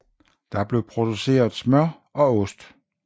Der blev produceret smør og ost